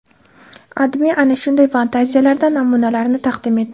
AdMe ana shunday fantaziyalardan namunalarni taqdim etdi .